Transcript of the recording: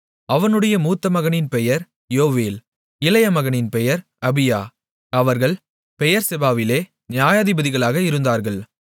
அவனுடைய மூத்தமகனின் பெயர் யோவேல் இளையமகனின் பெயர் அபியா அவர்கள் பெயெர்செபாவிலே நியாயாதிபதிகளாக இருந்தார்கள்